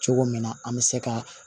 Cogo min na an bɛ se ka